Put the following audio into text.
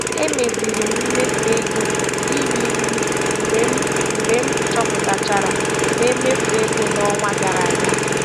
Emeziri m mmefu ego iri nri mgbe m mgbe m chọpụtachara na emefu ego n'ọnwa gara aga.